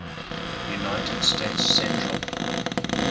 united states central